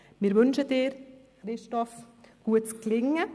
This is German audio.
Wir wünschen Ihnen, Christoph Neuhaus, gutes Gelingen.